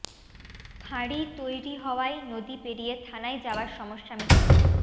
ফাঁড়ি তৈরি হওয়ায় নদী পেরিয়ে থানায় যাওয়ার সমস্যা মিটল